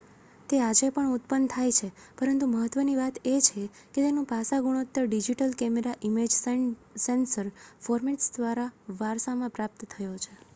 તે આજે પણ ઉત્પન્ન થાય છે પરંતુ મહત્ત્વની વાત એ છે કે તેનું પાસા ગુણોત્તર digital camera image sensor formats દ્વારા વારસામાં પ્રાપ્ત થયો છે